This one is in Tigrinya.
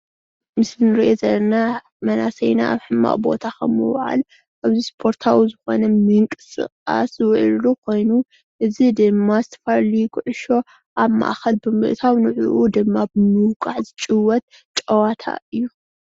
ምስሊ እንሪኦ ዘለና መናእሰይና አብ ሕማቅ ቦታ ካብ ምውዓል ኣብ ስፖርታዊ ዝኮነ ምንቅስቃስ ዝውዕልሉ ኮይኑ እዚ ድማ ዝተፈላለዩ ኩዕሶ አብ ማእከል ብምእታው ንዕዑ ድማ ብምውቃዕ ዝጭወት ጨዋታ እዩ።